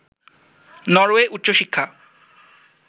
Norway উচ্চশিক্ষা